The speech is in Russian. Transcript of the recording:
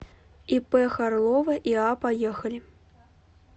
ип харлова иа поехали